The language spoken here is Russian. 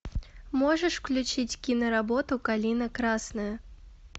можешь включить киноработу калина красная